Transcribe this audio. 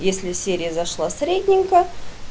если серия зашла средненько